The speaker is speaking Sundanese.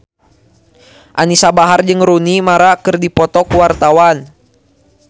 Anisa Bahar jeung Rooney Mara keur dipoto ku wartawan